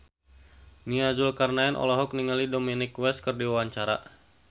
Nia Zulkarnaen olohok ningali Dominic West keur diwawancara